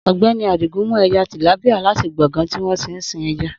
Ogbeni Adigun mú eja tìlápíà láti gbọ̀ngán tí wọn tí ń sin eja